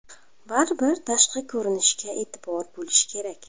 Baribir tashqi ko‘rinishga e’tibor bo‘lish kerak.